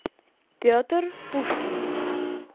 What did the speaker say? петр пушкин